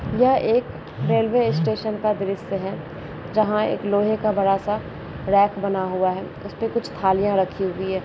यह एक railway station का दृश्य है जहाँ एक लोहे का बड़ा सा रैक बना हुआ है उसपे कुछ थालियाँ रखी हुई हैं।